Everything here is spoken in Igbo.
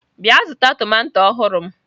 Bịa zụta tomato ọhụrụ m!